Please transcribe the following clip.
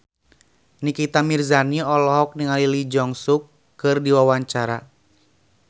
Nikita Mirzani olohok ningali Lee Jeong Suk keur diwawancara